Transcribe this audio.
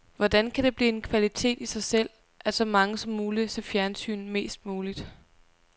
Hvordan kan det blive en kvalitet i sig selv, at så mange som muligt ser fjernsyn mest muligt?